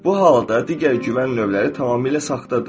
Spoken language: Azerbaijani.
Bu halda digər güvən növləri tamamilə saxtadır.